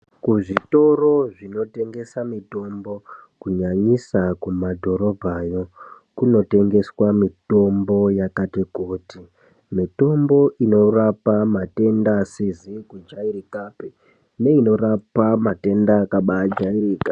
Kuzvitoro zvinotengesa mitombo ,kunyanyisa kumadhorobhayo, kunotengeswa mitombo yakati kuti . Mitombo inorapa matenda asizi kujairikapi, neinorapa matenda akabaajairika.